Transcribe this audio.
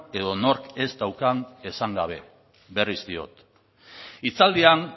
edo nork ez daukan esan gabe berriz diot hitzaldian